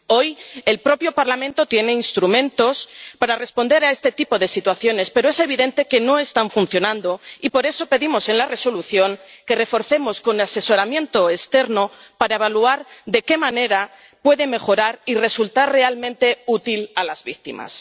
Hoy el propio Parlamento tiene instrumentos para responder a este tipo de situaciones, pero es evidente que no están funcionando, y por eso pedimos en la Resolución que los reforcemos, con asesoramiento externo, para evaluar de qué manera puede mejorar y resultar realmente útil a las víctimas.